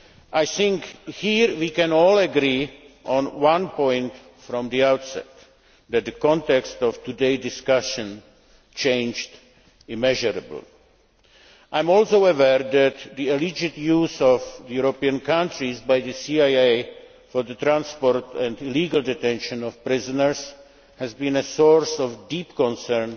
I think here we can all agree on one point from the outset that the context of today's discussion changed immeasurably. I am also aware that the alleged use of European countries by the CIA for the transport and illegal detention of prisoners has been a source of deep concern